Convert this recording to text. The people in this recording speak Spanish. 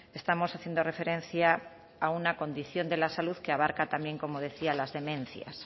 estamos haciendo referencia a una condición de la salud que abarca también como decía las demencias